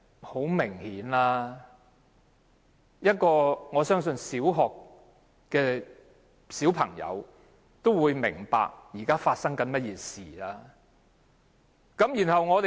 很明顯，我相信一名小學生也會明白，現在發生甚麼事情。